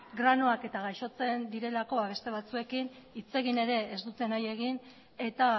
granoak eta gaixotzen direlako eta beste batzuekin hitz egin ere ez dute nahi egin eta